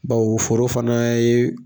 Baw foro fana ye